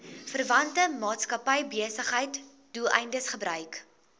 verwante maatskappybesigheidsdoeleindes gebruik